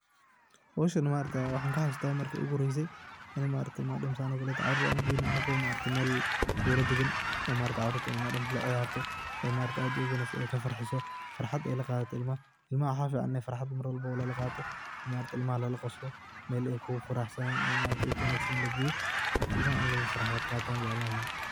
Hooshan ma aragta maxaa kaxasustah marki igu hureysah, ini maaragtay caruurta saan oo kolotay, caruurta u geyni anako maaragtay Bula dagan maaragtay madam caruurta la ciyaartoh ee maaragtay aad u wanagsantahay farfarxeet Aya la qathataah ilmaha , ilmaha waxa feecan Ina mar walbo farxaat lalaqato maargtahay ilamaha la qoosloh meel ay kugu faraxsaneyin meel wanagsan lageeyoh Ina farxaat lala qaatoh jeclani lahay.